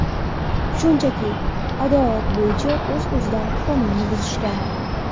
Shunchaki odat bo‘yicha oz-ozdan qonunni buzishgan.